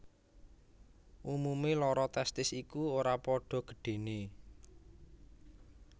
Umumé loro testis iku ora padha gedhené